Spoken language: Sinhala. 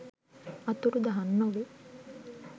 අතුරුදහන් නොවේ.